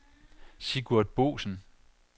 Sigurd Boesen